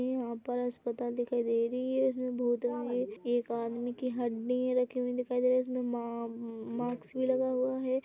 इ यहाँ पर अस्पताल दिखाई दे रही है इसमें में एक आदमी की हड्डी रखी हुई दिखाई दे रही है इसमें माँ-मम मास्क भी लगा हुआ है।